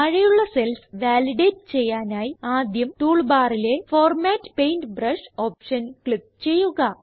താഴെയുള്ള cells validate ചെയ്യാനായി ആദ്യം ടൂൾ ബാറിലെ ഫോർമാറ്റ് പെയിന്റ്ബ്രഷ് ഓപ്ഷൻ ക്ലിക്ക് ചെയ്യുക